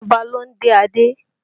Ọba ló ń dé adé